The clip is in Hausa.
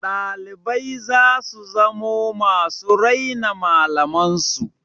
Ɗalibai za su zamo masu raina malaman su.